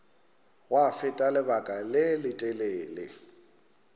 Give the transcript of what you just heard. gwa feta lebaka le letelele